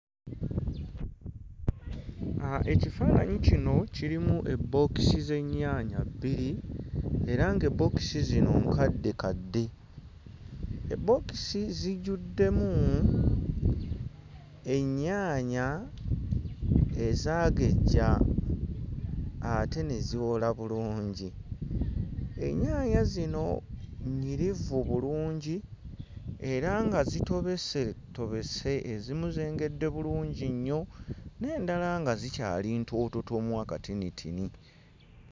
Uh ekifaananyi kino kirimu ebbookizi z'ennyaanya bbiri era ng'ebbookisi zino nkaddekadde ebbookisi zijjuddemu ennyaanya ezaagejja ate ne ziwola bulungi ennyaanya zino nnyirivu bulungi era nga zitobesetobese ezimu zengedde bulungi nnyo n'endala nga zikyali ntoototomu akatinitini.